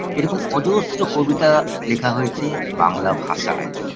এরকম অজস্র কবিতা লেখা হয়েছে বাংলা ভাষায়